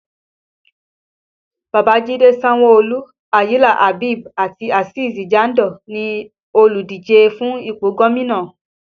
Babajide Sanwo-Olu, Ayinla Habeeb àti Azeez Jandor ni oludije fún ipò gómìnà